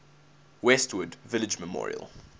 westwood village memorial